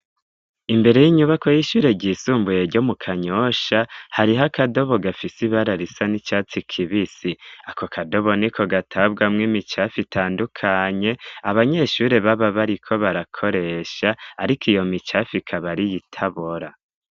imbere y'inyubako y'ishure ryisumbuye ryomu kanyosha hariho akadobo gafisi bararisa n'icatsi kibisi ako kadobo niko gatabwamwo imicafi itandukanye abanyeshure baba bariko barakoresha ariko iyo micafi ikabariyitabora